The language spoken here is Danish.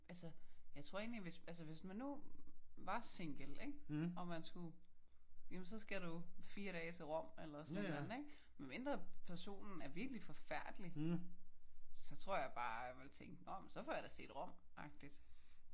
Altså jeg tror egentligt hvis altså hvis man nu var single ik? Og man skulle jamen så skal du 4 dage til Rom eller sådan et eller andet ik? Medmindre personen var virkelig forfærdelig så tror jeg bare jeg ville tænke nå jamen så får jeg da set Rom agtig